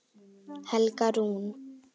Helga Rún.